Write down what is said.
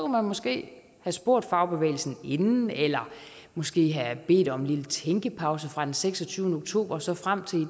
man måske have spurgt fagbevægelsen inden eller måske have bedt om en lille tænkepause fra den seksogtyvende oktober og så frem til